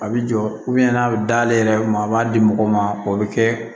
A bɛ jɔ n'a bɛ d'ale yɛrɛ ma a b'a di mɔgɔw ma o bɛ kɛ